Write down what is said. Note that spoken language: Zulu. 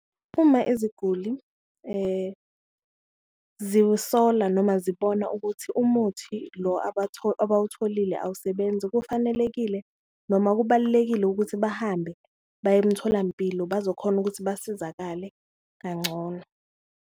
Uma iziguli ziwusola noma zibona ukuthi umuthi lo abawutholile awusebenzi, kufanelekile noma kubalulekile ukuthi bahambe baye emtholampilo bazokhona ukuthi basizakale kangcono.